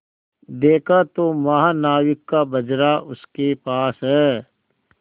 देखा तो महानाविक का बजरा उसके पास है